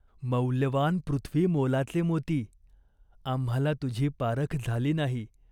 मौल्यवान पृथ्वीमोलाचे मोती. आम्हाला तुझी पारख झाली नाही.